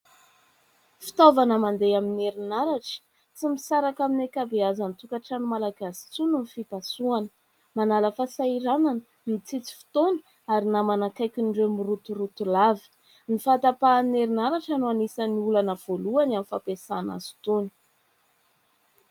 Fitaovana mandeha amin'ny erinaratra. Tsy misaraka amin'ny ankabeazan'ny tokantrano malagasy intsony ny fipasoana. Manala fahasahiranana, mitsitsy fotoana ary namana akaikin'ireo mirotoroto lava. Ny fahatapahan'ny erinaratra no anisan'ny olana voalohany amin'ny fampiasana azy itony.